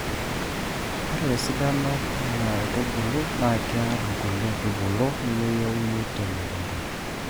Ore esidano ena aitubului naa kiaarr nkulie aitubulu nemeyieuni te mukunta.